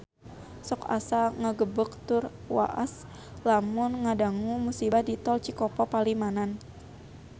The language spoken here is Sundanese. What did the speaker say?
Sok asa ngagebeg tur waas lamun ngadangu musibah di Tol Cikopo Palimanan